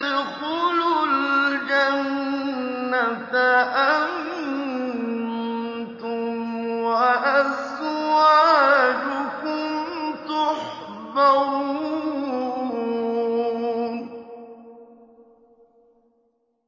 ادْخُلُوا الْجَنَّةَ أَنتُمْ وَأَزْوَاجُكُمْ تُحْبَرُونَ